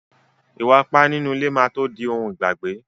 Ìwà ipá nínú ilé má tó di ohun ìgbàgbé.